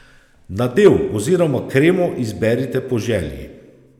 Nadev oziroma kremo izberite po želji.